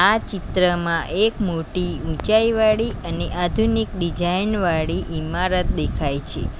આ ચિત્રમાં એક મોટી ઊંચાઈવાળી અને આધુનિક ડીજાઈન વાળી ઈમારત દેખાય છે.